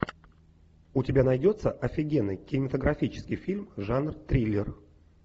у тебя найдется офигенный кинематографический фильм жанр триллер